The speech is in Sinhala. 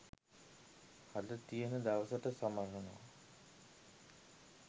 හද තියෙන දවසට සමරනවා